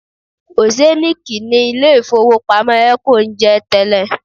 Oceannic ni ilé ìfowópamọ́ Eco ń jẹ́ tẹ́lẹ̀